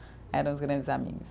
Eram os grandes amigos.